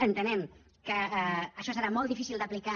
entenem que això serà molt difícil d’aplicar